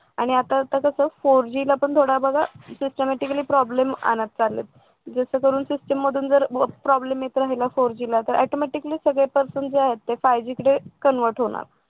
आणि आता कसं four G ला पण थोडा बघा systematically problem आणत चाललेत जसं करून सिस्टीम मधून जर problem येत राहिला four G तर automatically सगळे person जे आहेत ते five G कडे convert होणार